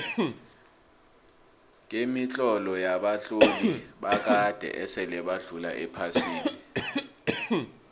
kemitlolo yabatloli bakade esile badlula ephasini